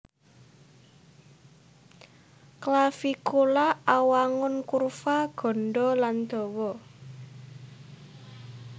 Clavicula awangun kurva gandha lan dawa